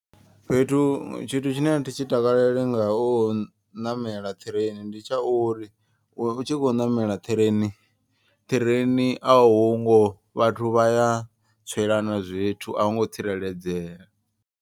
Fhethu tshithu tshine a thi tshi takaleli nga u ṋamela ṱhireini. Ndi tsha uri u tshi khou namela ṱhireini ṱhireini a hungo vhathu vhaya tswelana zwithu a hu ngo tsireledzea.